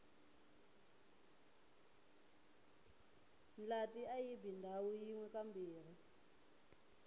ndlati ayibi ndhawu yinwe kambirhi